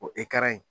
O